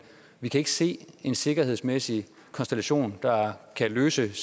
vi kan ikke se en sikkerhedsmæssig konstellation der kan løse